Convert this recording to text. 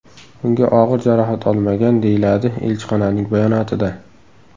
Unga og‘ir jarohat olmagan, deyiladi elchixonaning bayonotida.